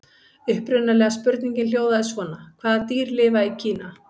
Upprunalega spurningin hljóðaði svona: Hvaða dýr lifa í Kína?